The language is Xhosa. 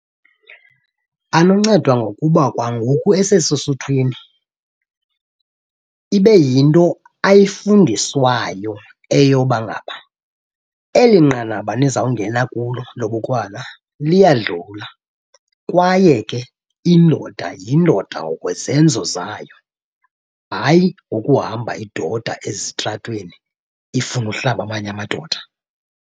Anoncedwa ngokuba kwa ngoku esese suthwini ibe yinto ayifundiswayo eyoba ngaba eli nqanaba nizawungena kulo lobukrwala liyadlula kwaye ke indoda yindoda ngokwezenzo zayo. Hayi ngokuhamba idoda ezitratweni, ifune uhlaba amanye amadoda.